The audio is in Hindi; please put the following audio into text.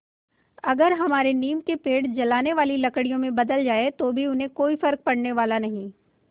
अगर हमारे नीम के पेड़ जलाने वाली लकड़ियों में बदल जाएँ तो भी उन्हें कोई फ़र्क पड़ने वाला नहीं